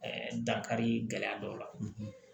Ɛɛ dankari gɛlɛya dɔw la